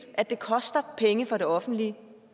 at det koster penge for det offentlige